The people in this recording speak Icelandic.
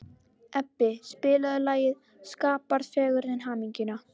Ebbi, spilaðu lagið „Skapar fegurðin hamingjuna“.